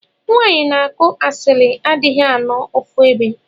Nwanyi na akụ asilli adighi anọ ofuebe.